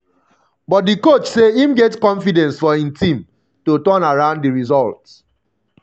but di coach say im get confidence for im team to um turn around di results.